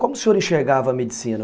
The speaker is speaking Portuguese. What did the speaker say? Como o senhor enxergava a medicina?